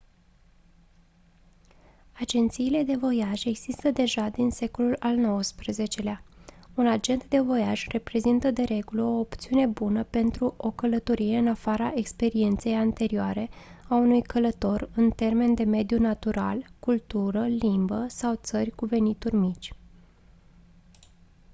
agențiile de voiaj există deja din secolul al xix-lea un agent de voiaj reprezintă de regulă o opțiune bună pentru o călătorie în afara experienței anterioare a unui călător în termeni de mediu natural cultură limbă sau țări cu venituri mici